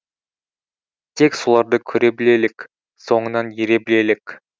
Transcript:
тек соларды көре білелік соңынан ере білелік